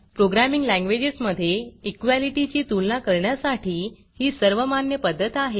programming languages मधे equality ची तुलना करण्यासाठी ही सर्वमान्य पध्दत आहे